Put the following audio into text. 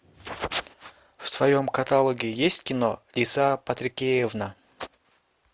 в твоем каталоге есть кино лиса патрикеевна